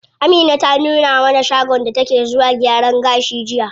Amina ta nuna mana shagon da take zuwa gyaran gashi jiya.